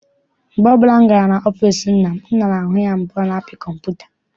Mgbe ọbụla m gara n'ọfịịsi nna m, ana m ahụ ya ebe ọ na-apị kọmputa ya.